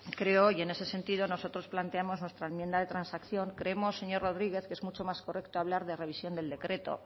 creo y en ese sentido nosotros planteamos nuestra enmienda de transacción creemos señor rodríguez que es mucho más correcto hablar de revisión del decreto